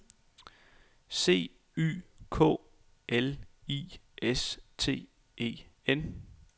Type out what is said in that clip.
C Y K L I S T E N